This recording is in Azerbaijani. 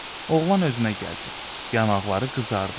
Oğlan özünə gəldi, yanaqları qızardı.